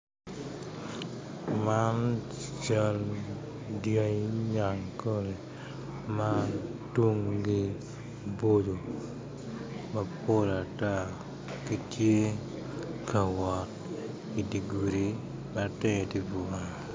Man cal dyangi nyankole ma tungi boco mapol ata gitye ka wot idye gudi ma tenge tye bunga